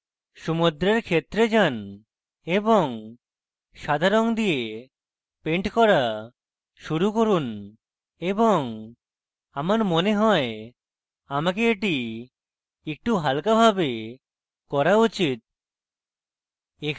সমুদ্রের ক্ষেত্রে যান এবং সাদা রঙ দিয়ে পেন্ট করা শুরু করুন এবং আমার মনে হয় আমাকে এটি একটু হালকাভাবে করা উচিত